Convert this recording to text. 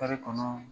kɔnɔ